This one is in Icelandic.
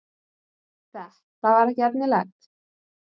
Þetta var ekki efnilegt.